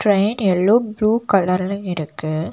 Train yellow blue கலர்ல இருக்கு.